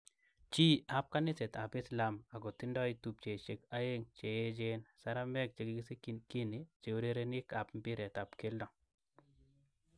Chi ab kaniset ab islam ako tindo tupchisiek aeng cheechen saramek chekikisikyin Guinea cheurerenik ab mbiret ab keldo.